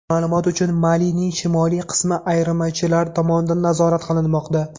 Ma’lumot uchun, Malining shimoliy qismi ayirmachilar tomonidan nazorat qilinmoqda.